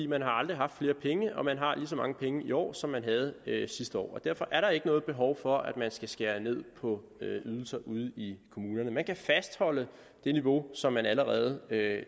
man har aldrig haft flere penge og man har lige så mange penge i år som man havde sidste år og derfor er der ikke noget behov for at man skal skære ned på ydelser ude i kommunerne man kan fastholde det niveau som man allerede